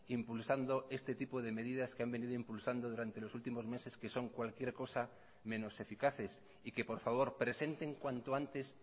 impulsando este tipo de medidas que han venido impulsando durante los últimos meses que son cualquier cosa menos eficaces y que por favor presenten cuanto antes